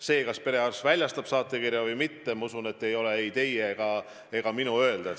See, kas perearst väljastab saatekirja või mitte, ei ole ei teie ega minu öelda.